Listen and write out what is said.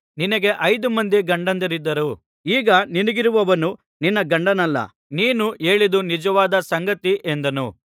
ನಿನಗೆ ಐದು ಮಂದಿ ಗಂಡಂದಿರಿದ್ದರು ಈಗ ನಿನಗಿರುವವನು ನಿನ್ನ ಗಂಡನಲ್ಲ ನೀನು ಹೇಳಿದ್ದು ನಿಜವಾದ ಸಂಗತಿ ಎಂದನು